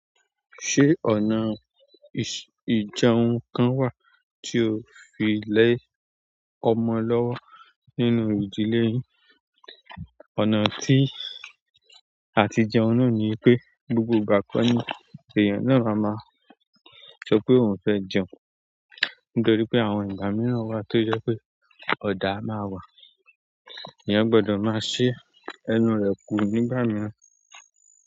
Se ọ̀nà ijẹun kan wa ti o fi le ọmọ lọwọ nínú ìdílé yin? Ọ̀nà tí a ti jẹun náà ni pé gbogbo ìgbà kọ́ ni èèyàn náà máa máa sọ pé òun fẹ́ jẹun nítorí pé àwọn ìgbà mìíràn wà tó jẹ́ pé ọ̀dá máa wà, èèyàn gbọ́dọ̀ máa ṣe ẹnu rẹ̀ kú nígbà mìíràn.